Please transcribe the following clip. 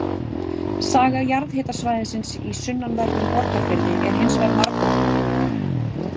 Saga jarðhitasvæðisins í sunnanverðum Borgarfirði er hins vegar margbrotnari.